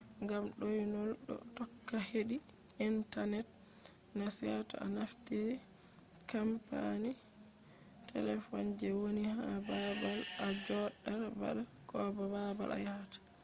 ngam ɗoynol ɗo tokka heɗi intanet na seto a naftiri kampani telefon je woni ha baabal a joɗata ba ko baabal a yahata